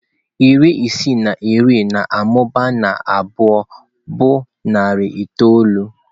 Iri ise na iri na-amụba na abụọ bụ narị itoolu.